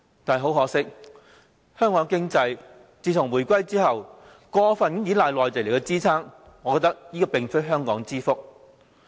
但是，很可惜，香港的經濟自從回歸以來，過分依賴內地支撐，這實非香港之福。